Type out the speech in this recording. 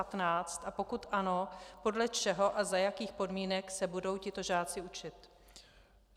A pokud ano, podle čeho a za jakých podmínek se budou tito žáci učit.